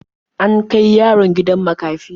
An kai yaron gidan makafi.